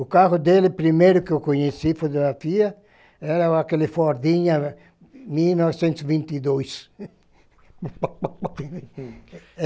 O carro dele, primeiro que eu conheci fotografia, era aquele Fordinha mil novecentos e vinte e dois.